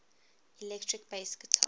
electric bass guitar